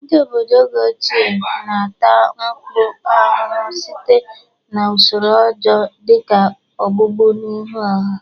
Ndị obodo oge ochie na ata mpụ ahụhụ site na usoro ọjọọ dị ka ogbugbu n'ihu ọha.